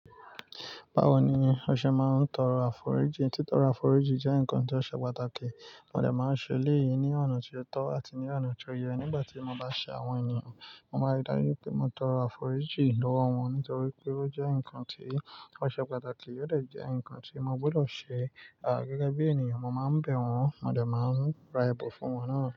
Báwo ni o ṣe máa ń tọrọ àforíjì? Títọrọ àforíjì jẹ́ nǹkan tó ṣe pàtàkì. Mo dẹ̀ máa ń ṣe eléyìí ní ọ̀nà ti o tọ́ àti ní ọ̀nà tió yẹ. Nígbà tí mo bá ṣe àwọn ènìyàn, mo máa dárí pé mo tọrọ àforíjì lọ́wọ́ wọn nítorí pé ó jẹ́ nǹkan ti oṣe pàtàkì. Ó dẹ̀ jẹ́ nǹkan tí mo gbọ́dọ̀ ṣe. Gẹ́gẹ́ bí ènìyàn, mo máa ń bẹ̀ wọ́n, mo dẹ̀ máa ń ra ẹbun fún wọ́n náà.